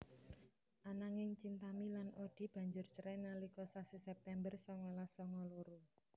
Ananging Chintami lan Oddie banjur cerai nalika sasi September songolas songo loro